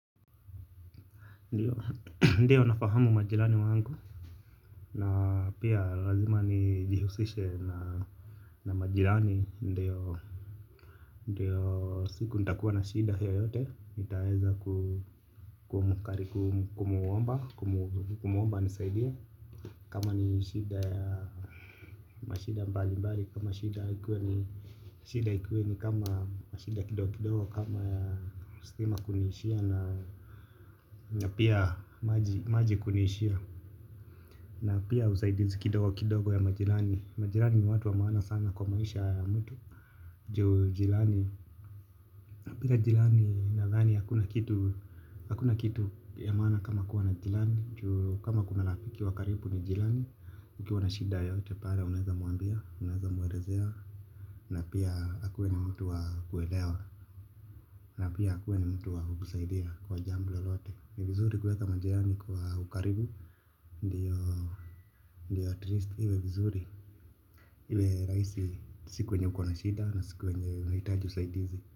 Ndiyo nafahamu majilani wangu. Na pia lazima nijihusishe na majilani. Ndiyo siku nitakuwa na shida yoyote. Nitaweza kumwomba. Kumwomba anisaidie. Kama ni shida ya mashida mbali mbali. Kama shida ikiwa ni shida ikiwa ni kama mashida kidogo kidogo. Kama ya stima kuniishia na na pia maji kuniishia. Na pia usaidizi kidogo kidogo ya majirani. Majirani ni watu wa maana sana kwa maisha ya mtu. Jirani na pia jirani nadhani hakuna kitu. Hakuna kitu ya maana kama kuwa na jirani. Kama kuna rafiki wa karibu ni jirani. Ukiwa na shida yoyote pale unaweza mwambia. Unaweza mwelezea. Na pia akuwe ni mtu wa kuelewa. Na pia akuwe ni mtu wa kukusaidia kwa jambo lalote. Ni vizuri kuweza majirani kwa ukaribu. Ndiyo at least iwe vizuri. Iwe rahisi siku wenye ukona shida na siku wenye unahitaji usaidizi.